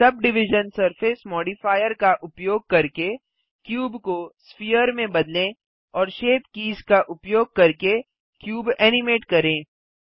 sub division surface modifier का उपयोग करके क्यूब को स्पेयर में बदलें और शेप कीज़ का उपयोग करके क्यूब एनिमेट करें